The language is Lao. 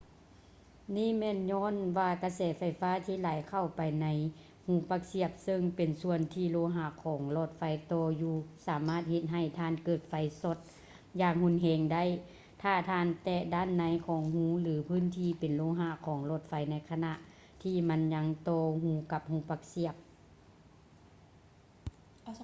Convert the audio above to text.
ນີ້ແມ່ນຍ້ອນວ່າກະແສໄຟຟ້າທີ່ໄຫຼເຂົ້າໄປໃນຮູປັກສຽບເຊິ່ງເປັນສ່ວນທີ່ໂລຫະຂອງຫຼອດໄຟຕໍ່ຢູ່ ສາມາດເຮັດໃຫ້ທ່ານເກີດໄຟຟ້າຊັອດຢ່າງຮຸນແຮງໄດ້ຖ້າທ່ານແຕະດ້ານໃນຂອງຮູ ຫຼື ພື້ນທີ່ເປັນໂລຫະຂອງຫຼອດໄຟໃນຂະນະທີ່ມັນຍັງຕໍ່ກັບຮູສຽບໄຟຟ້າ